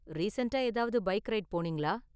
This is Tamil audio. ரீசண்ட்டா ஏதாவது பைக் ரைடு போனீங்களா?